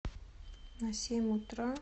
на семь утра